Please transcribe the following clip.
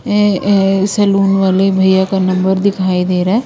ए-ए saloon वाले भैया का नंबर दिखाई दे रहा है।